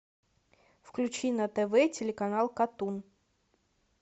включи на тв телеканал катун